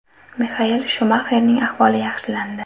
Mixael Shumaxerning ahvoli yaxshilandi.